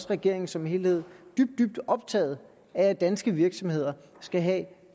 regeringen som helhed dybt dybt optaget af at danske virksomheder skal have